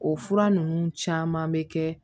O fura ninnu caman bɛ kɛ